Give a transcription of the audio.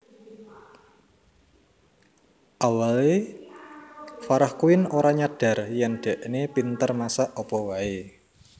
Awale Farah Quinn ora nyadar yen dekne pinter masak apa wae